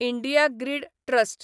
India grid trust